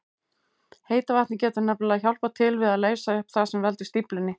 Heita vatnið getur nefnilega hjálpað til við að leysa upp það sem veldur stíflunni.